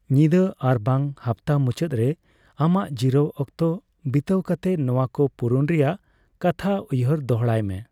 ᱧᱤᱫᱟᱹ ᱟᱨᱵᱟᱝ ᱦᱟᱯᱛᱟ ᱢᱩᱪᱟᱹᱫᱨᱮ ᱟᱢᱟᱜ ᱡᱤᱨᱟᱹᱣ ᱚᱠᱛᱚ ᱵᱤᱛᱟᱹᱣ ᱠᱟᱛᱮ ᱱᱚᱣᱟᱠᱚ ᱯᱩᱨᱩᱱ ᱨᱮᱭᱟᱜ ᱠᱟᱛᱷᱟ ᱩᱦᱭᱟᱹᱨ ᱫᱚᱲᱦᱟᱭᱢᱮ ᱾